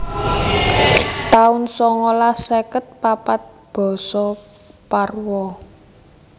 taun songolas seket papat Basa Parwa